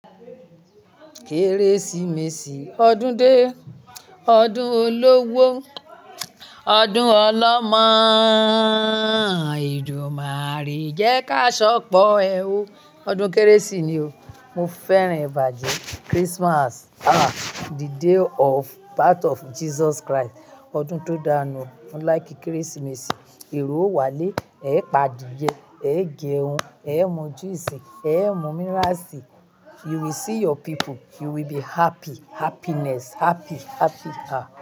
Kérésìmesì, ọdún dé, ọdún olówó, ọdún ọlọ́mọ, edumare, jẹ́ ká ṣọ́pọ̀ ẹ o. Ọdún kérésì ni o. Mo fẹ́ràn e bàjẹ́. Christmas, ah, the day of birth of Jesus Christ. Ọdún tó dá nu o. Mo like kérésìmesì. Èrò ó wá lé, ẹ pàdíyẹ, ẹ jẹun, ẹ mu jusi, ẹ mu míràsì. You will see your people, you will be happy. Happiness, happy, happy, ah.